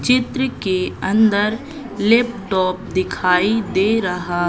चित्र के अंदर लैपटॉप दिखाई दे रहा--